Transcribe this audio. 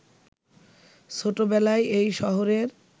ছোটবেলায় এই শহরের